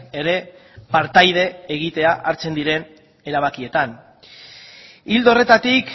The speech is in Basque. ere partaide egitea hartzen diren erabakietan ildo horretatik